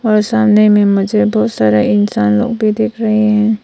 और सामने में मुझे बहुत सारा इंसान लोग भी दिख रहे हैं।